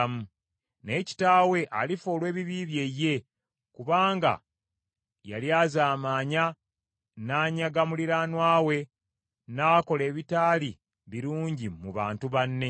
Naye kitaawe alifa olw’ebibi bye ye kubanga yalyazaamanya, n’anyaga muliraanwa we, n’akola ebitaali birungi mu bantu banne.